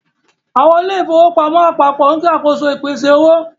Àwọn ilé ìfowópamọ́ apapo ń ṣàkóso ìpèsè owó.